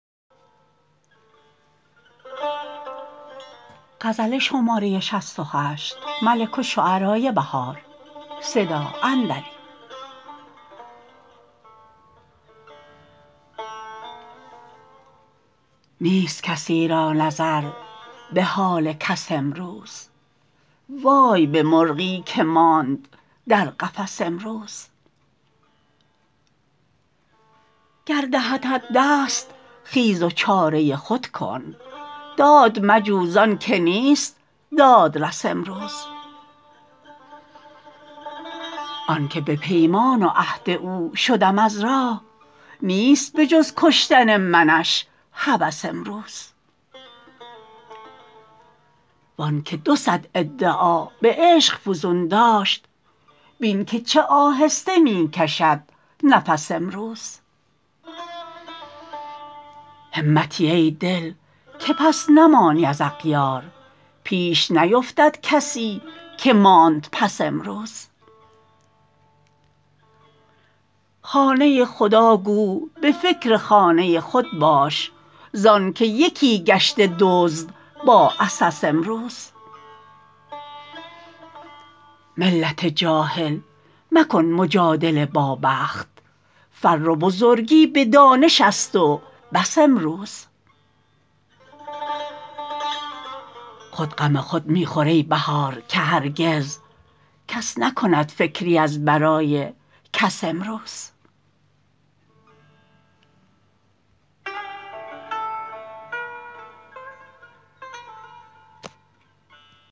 نیست کسی را نظر به حال کس امروز وای به مرغی که ماند در قفس امروز گر دهدت دست خیز و چاره خود کن داد مجو زان که نیست دادرس امروز آن که به پیمان و عهد او شدم از راه نیست بجز کشتن منش هوس امروز وان که دو صد ادعا به عشق فزون داشت بین که چه آهسته می کشد نفس امروز همتی ای دل که پس نمانی از اغیار پیش نیفتد کسی که ماند پس امروز خانه خداگو به فکر خانه خود باش زان که یکی گشته دزد با عسس امروز ملت جاهل مکن مجادله با بخت فر و بزرگی به دانش است و بس امروز خود غم خود می خور ای بهار که هرگز کس نکند فکری از برای کس امروز